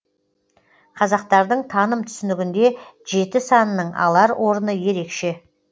қазақтардың таным түсінігінде жеті санының алар орны ерекше